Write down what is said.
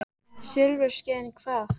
Silfurskeiðin hvað?